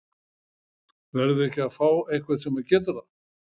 Verðum við ekki að fá einhvern sem getur það?